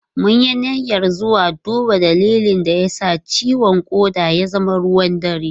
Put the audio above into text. Mun yi niyyar zuwa duba dalilin da ya sa ciwon koda ya zama ruwan dare.